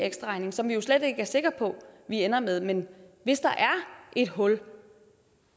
ekstraregning som vi jo slet ikke er sikker på vi ender med men hvis der er et hul